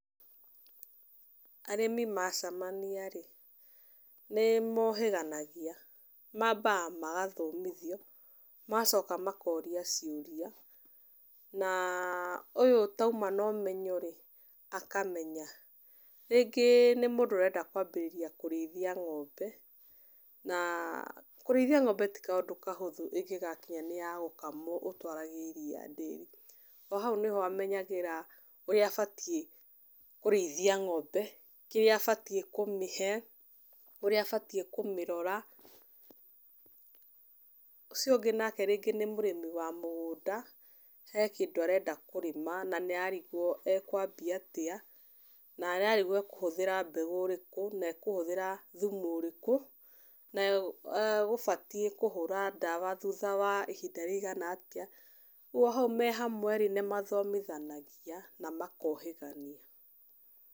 Arĩmi macamania rĩ nĩ mohĩganaɡia. Mambaga magathomithio magacoka makoria ciũria na ũyũ utauma na ũmenyo rĩ akamenya. Rĩngĩ nĩ mũndũ ũrenda kwambĩrĩria kũrĩithia ng'ombe na kũrĩithia ng'ombe ti kaũndũ kahũthũ ĩngĩgakinya niya gukamwo ũtwarage iria ndĩri.O hau nĩho amenyagĩra ũrĩa abatiĩ kurĩithia ng'ombe, kĩrĩa abatiĩ kũmĩhe, ũrĩa abatiĩ kumĩrora. Ũcio ũngĩ nake rĩngĩ nĩ mũrĩmi wa mũgũnda he kĩndũ arenda kũrĩma na nĩ ararigwo ekwambia atia na ararigwo ekũhũthĩra mbegu ĩrĩkũ na ekũhũthĩra thumu ũrĩkũ. Nayo egũbatie kũhũra ndawa thutha wa ihinda rĩ igana atia. Ũgwo me hau me hamwe rĩ nimathomithanagia na makohĩgania.